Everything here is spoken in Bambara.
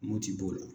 Mopti b'o la